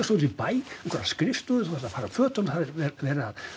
út í bæ á einhverja skrifstofu þú þarft að fara úr fötunum það er verið